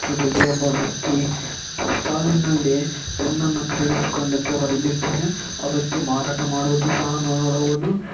ಚಿತ್ರದಲ್ಲಿ ಒಬ್ಬ ವ್ಯಕ್ತಿ ಬುಕ್ಸ್ ಸ್ಟಾಲ್ ನಲ್ಲಿ ಪೆನ್ನನ್ನು ಬರಿಲಿದ್ದಾನೆ ಆ ವ್ಯಕ್ತಿ ಮಾರಾಟ ಮಾಡುವುದು ಸಹ ನಾವು ನೋಡಬಹುದು.